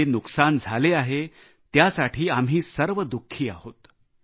जे नुकसान झाले आहे त्यसाठी आम्ही सर्व दुखी आहोत